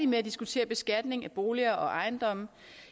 med at diskutere beskatning af boliger og ejendomme